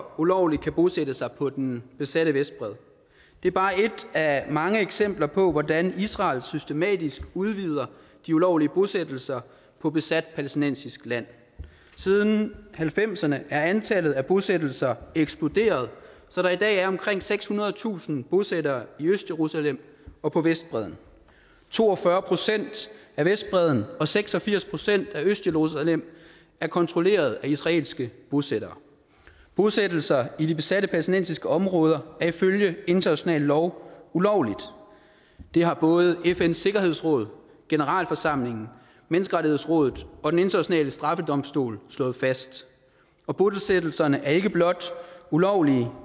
ulovligt kan bosætte sig på den besatte vestbred det er bare et af mange eksempler på hvordan israel systematisk udvider de ulovlige bosættelser på besat palæstinensisk land siden nitten halvfemserne er antallet af bosættelser eksploderet så der i dag er omkring sekshundredetusind bosættere i østjerusalem og på vestbredden to og fyrre procent af vestbredden og seks og firs procent af østjerusalem er kontrolleret af israelske bosættere bosættelser i de besatte palæstinensiske områder er ifølge international lov ulovlige det har både fns sikkerhedsråd generalforsamlingen menneskerettighedsrådet og den internationale straffedomstol slået fast og bosættelserne er ikke blot ulovlige